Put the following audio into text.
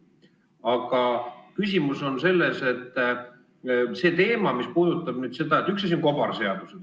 Aga küsimus on selles, et üks asi on kobarseadused.